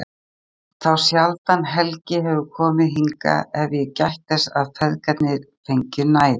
Danmerkur, þá sjaldan Helgi hefur komið hingað hef ég gætt þess að feðgarnir fengju næði.